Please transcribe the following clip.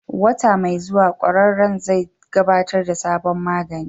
Wata mai zuwa, ƙwararren zai gabatar da sabon magani.